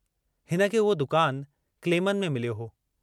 हिनखे उहो दुकान क्लेमनि में मिलियो हो।